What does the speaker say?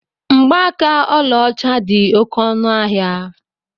Mgbaaka ọlaọcha dị oké ọnụ ahịa.